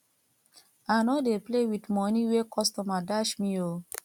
i no dey play with money wey customer dash me oo